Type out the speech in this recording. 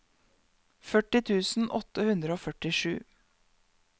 førti tusen åtte hundre og førtisju